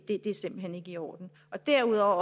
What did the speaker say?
er simpelt hen ikke i orden derudover